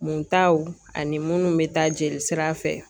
Muntaw ani munnu bɛ taa jeli sira fɛ